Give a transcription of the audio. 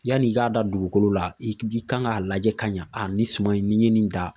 Yanni i k'a da dugukolo la i k i kan k'a lajɛ ka ɲa nin suman in ni ye nin dan